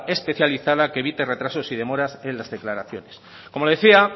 especializada que evite retroceso y demoras en las declaraciones como decía